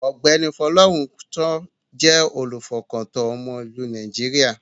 Ọ̀gbẹ́ni Folorunsho jẹ́ olùfọkàntán ọmọ ìlú Nàìjíríà.